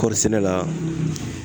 Kɔɔrisɛnɛ la